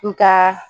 N ka